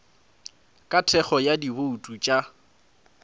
ka thekgo ya dibouto tša